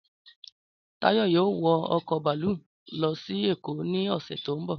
Táyọ̀ yóò wọ ọkọ̀ bàlúù lọ sí Èkó ní ọ̀sẹ̀ tó ń bọ̀